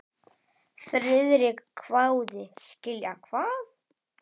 Friðrik hváði: Skilja hvað?